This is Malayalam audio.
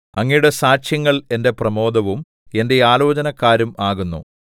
അങ്ങയുടെ സാക്ഷ്യങ്ങൾ എന്റെ പ്രമോദവും എന്റെ ആലോചനക്കാരും ആകുന്നു ദാലെത്ത്